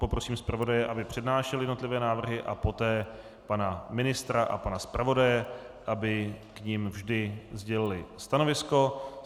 Poprosím zpravodaje, aby přednášel jednotlivé návrhy, a poté pana ministra a pana zpravodaje, aby k nim vždy sdělili stanovisko.